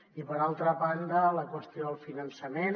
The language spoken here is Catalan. i per altra banda la qüestió del finançament